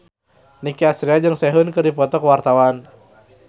Nicky Astria jeung Sehun keur dipoto ku wartawan